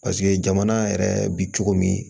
Paseke jamana yɛrɛ bi cogo min